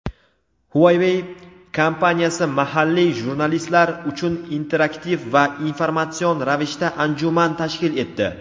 "Huawei" kompaniyasi mahalliy jurnalistlar uchun interaktiv va informatsion ravishda anjuman tashkil etdi.